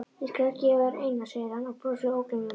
Ég skal gefa þér eina, segir hann og brosir ógleymanlegur.